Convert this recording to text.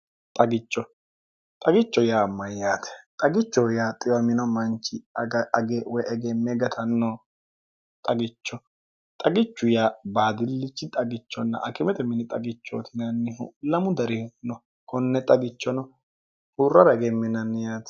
xchxagicho yaa mayyaate xagicho yaa xiwa mino manchi age woy egemme gatanno xagicho xagichu yaa baadillichi xagichonna akimete mini xagichootinannihu lamu darih no konne xagichono huurrara egemminanni yaati